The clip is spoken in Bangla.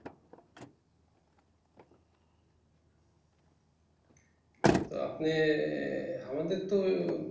তো আপনি ই আমাদের তো